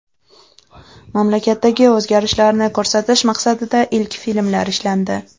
Mamlakatdagi o‘zgarishlarni ko‘rsatish maqsadida ilk filmlar ishlandi.